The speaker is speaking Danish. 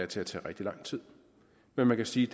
til at tage rigtig lang tid men man kan sige